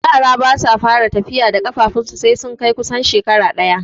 Yara basu fara tafiya da ƙafarsu sai sun kai kusan shekara ɗaya